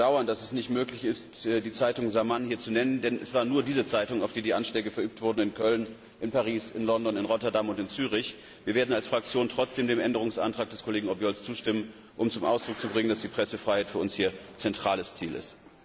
Wir bedauern, dass es nicht möglich ist, die Zeitung Zaman hier zu nennen, denn es war nur diese Zeitung, auf die die Anschläge in Köln, in Paris, in London, in Rotterdam und in Zürich verübt wurden. Wir werden als Fraktion trotzdem dem Änderungsantrag des Kollegen Obiols zustimmen, um zum Ausdruck zu bringen, dass die Pressefreiheit für uns zentrales Ziel ist.